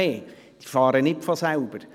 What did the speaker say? Doch diese fahren nicht von selber.